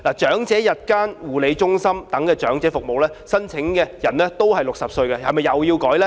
長者日間護理中心等長者服務，申請年齡也是60歲，這又是否要修改呢？